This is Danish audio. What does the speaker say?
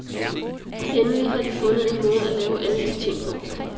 Endelig har de fundet en måde at lave alle de ting på.